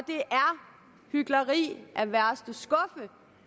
hykleri